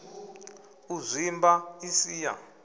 u zwimba i si ya